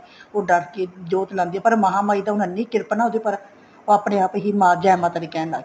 ਉਹ ਡਰ ਕੇ ਜੋਤ ਲਾਉਂਦੀ ਆ ਪਰ ਮਹਾ ਮਾਈ ਦੀ ਇੰਨੀ ਕਿਰਪਾ ਨਾ ਉਹਦੇ ਪਰ ਉਹ ਆਪਣੇ ਆਪ ਹੀ ਜੇ ਮਾਤਾ ਦੀ ਕਹਿਣ ਲੱਗ ਗਈ